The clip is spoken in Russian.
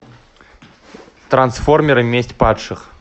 трансформеры месть падших